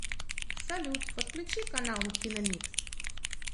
салют подключи канал киномикс